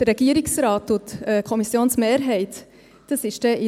Beim Regierungsrat und der Kommissionsmehrheit ist es drin.